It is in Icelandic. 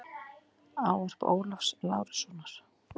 Ávarp Ólafs Lárussonar.